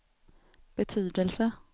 betydelse